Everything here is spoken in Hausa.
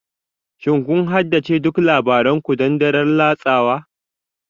Shin kun haddace duk labaran ku don daren latsawa?